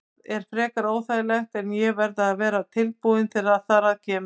Það er frekar óþægilegt en ég verð að vera tilbúinn þegar þar að kemur.